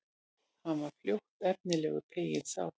Hann var fljótt efnilegur, peyinn sá.